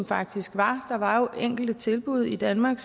faktisk var der var jo enkelte tilbud i danmark